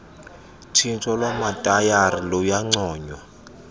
tshintsho lwamatayara luyancoywa